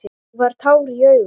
Þú færð tár í augun.